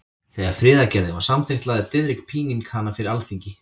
Þegar friðargerðin var samþykkt lagði Diðrik Píning hana fyrir Alþingi.